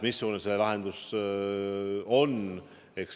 Missugune see lahendus täpselt on?